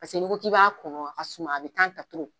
Paseke ni ko k'i b'a kɔnɔ a suma a be ta